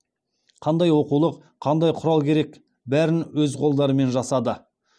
қандай оқулық қандай құрал керек бәрін өз қолдарымен жасады